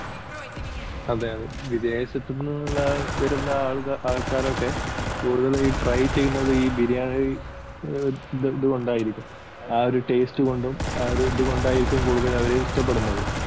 അതെ അതെ വിദേശത്തൂന്ന് വരുന്ന ആൾക്കാരൊക്കെ കൂടുതലും ട്രൈ ചെയ്യുന്നതീ ബിരിയാണിയുടെ ഇതുകൊണ്ടായിരിക്കും. ആ ഒരു taste കൊണ്ടും ആ ഒരിത് കൊണ്ടായിരിക്കും അവരിത് ഇഷ്ടപ്പെടുന്നത്.